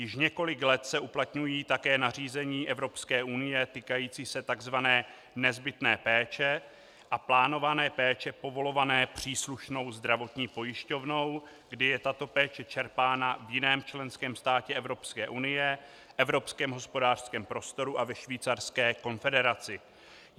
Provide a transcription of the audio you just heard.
Již několik let se uplatňují také nařízení EU týkající se tzv. nezbytné péče a plánované péče povolované příslušnou zdravotní pojišťovnou, kdy je tato péče čerpána v jiném členském státě EU, Evropském hospodářském prostoru a ve Švýcarské konfederaci.